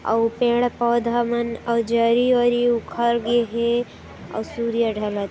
आउ पेड़ पौधा मन अऊ जारी वारी मन उखन गए हेअऊ सूर्य ढलत हे ।